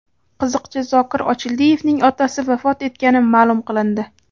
Qiziqchi Zokir Ochildiyevning otasi vafot etgani ma’lum qilindi.